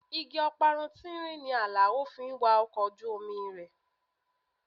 Igi ọparun tínrín ni Alao fi ń wa ọkọ̀ ojú omi rẹ̀.